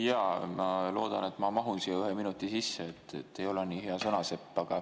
Jaa, ma loodan, et ma mahun ühe minuti sisse, ei ole nii hea sõnasepp.